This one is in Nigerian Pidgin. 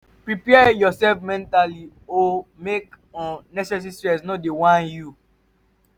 prepare urself mentally o mek um unnecessary stress no whine you um